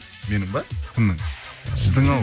менің бе кімнің сіздің ау